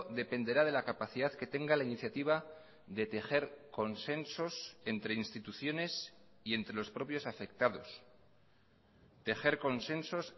dependerá de la capacidad que tenga la iniciativa de tejer consensos entre instituciones y entre los propios afectados tejer consensos